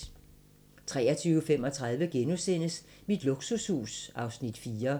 23:35: Mit luksushus (Afs. 4)*